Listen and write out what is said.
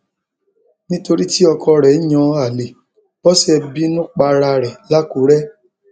nítorí tí ọkọ rẹ ń yan àlè bọsẹ bínú para rẹ lákùrẹ